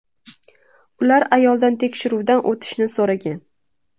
Ular ayoldan tekshiruvdan o‘tishni so‘ragan.